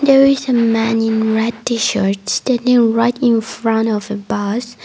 there is a man in red t-shirt standing right infront of a bus.